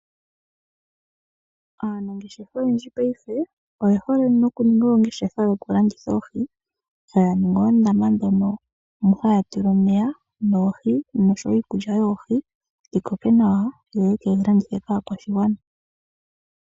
Aanangeshefa oyendji paife oye hole noku ninga oongeshefa yoku landitha oohi taya ningi oondama dhono mu haya tula omeya noohi noshowo iikulya yoohi dhi koke nawa yo yekedhi landithe po aakwashigwana.